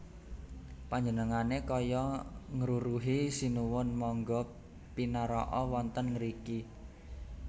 Panjenengané kaya ngruruhi Sinuwun mangga pinaraka wonten ngriki